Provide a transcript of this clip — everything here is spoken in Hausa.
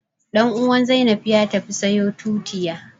Ɗan'uwan Zainab ya tafi sayo tutiya